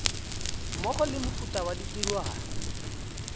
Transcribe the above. mmogo le mefuta ya ditirwana